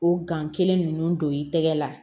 O gan kelen ninnu don i tɛgɛ la